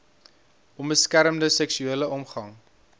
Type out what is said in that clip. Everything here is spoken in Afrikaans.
onbeskermde seksuele omgang